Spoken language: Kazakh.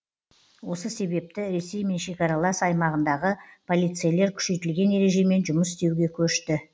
осы себепті ресеймен шекаралас аймағындағы полицейлер күшейтілген ережемен жұмыс істеуге көшті